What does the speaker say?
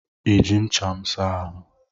I ji ncha m saa ahụ?